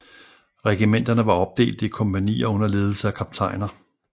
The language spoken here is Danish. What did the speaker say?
Regimenterne var opdelte i kompagnier under ledelse af kaptajner